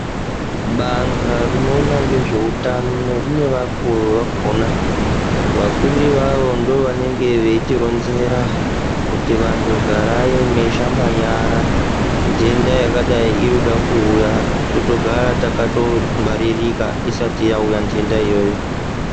Banga rinoona ngezveutano rine vakuru vakona. Vakuru ivavo ndovanenge veitironzera kuti vantu garai meishamba nyara ntenda yakadai irikuda kuuya, totogara takatongwaririka isati yauya ntenda iyoyo.